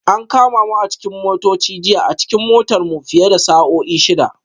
An kama mu a cikin motoci jiya a cikin motar mu fiye da sa'o'i shida